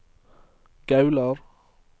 Gaular